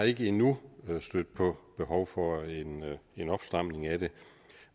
ikke endnu stødt på behov for en opstramning af det